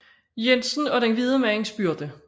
Jensen og den hvide mands byrde